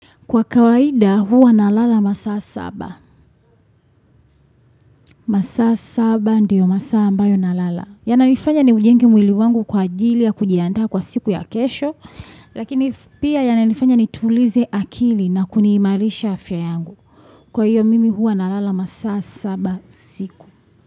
Kwa kawaida huwa na lala masaa saba. Masaa saba ndiyo masaa ambayo na lala. Yananifanya ni ujenge mwili wangu kwa ajili ya kujiandaa kwa siku ya kesho. Lakini pia yananifanya ni tulize akili na kuniimarisha afya yangu. Kwa hiyo mimi huwa na lala masaa saba siku.